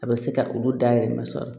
A bɛ se ka olu dahirimɛ sɔrɔ